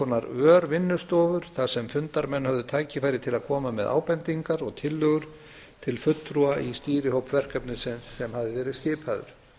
konar örvinnustofur þar sem fundarmenn höfðu tækifæri til að koma með ábendingar og tillögur til fulltrúa í stýrihópi verkefnisins sem hafði verið skipaður